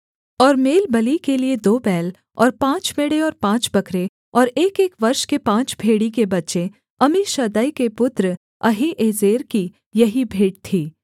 और मेलबलि के लिये दो बैल और पाँच मेढ़े और पाँच बकरे और एकएक वर्ष के पाँच भेड़ी के बच्चे अम्मीशद्दै के पुत्र अहीएजेर की यही भेंट थी